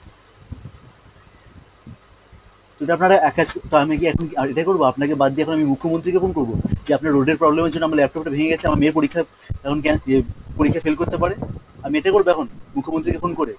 যদি আপনারা এক কাজ, তো আমি কি এখন কি আর এটাই করবো, আপনাকে বাদ দিয়ে এখন আমি মুখ্যমন্ত্রী কে phone করবো? যে আপনার road এর problem এর জন্য আপনার laptop টা ভেঙে গেছে, আমার মেয়ের পরীক্ষা এখন ক্যান ইয়ে পরীক্ষায় fail করতে পারে। আমি এটাই করবো এখন, মুখ্যমন্ত্রীকে phone করে?